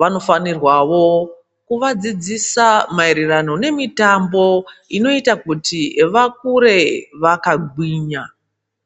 vanofanirwawo kuvadzidzisa maererano nemutambo inoita kuti vakure vakangwinya.